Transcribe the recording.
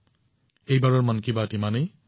এইবাৰৰ মন কী বাতৰ বিষয়ো এয়াই